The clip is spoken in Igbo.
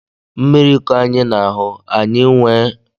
Mmiri kọ anyị n'ahú, anyị nwèrè íké ịria ọrịa